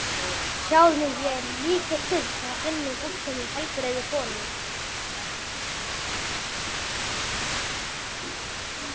Sjáðu mig, ég er líkneskja af hinni fullkomnu, heilbrigðu konu.